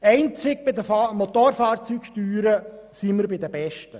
Einzig bei den Motorfahrzeugsteuern gehören wir zu den Besten.